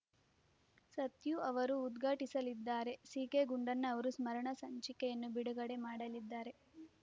ಸತ್ಯು ಅವರು ಉದ್ಘಾಟಿಸಲಿದ್ದಾರೆ ಸಿಕೆ ಗುಂಡಣ್ಣ ಅವರು ಸ್ಮರಣ ಸಂಚಿಕೆಯನ್ನು ಬಿಡುಗಡೆ ಮಾಡಲಿದ್ದಾರೆ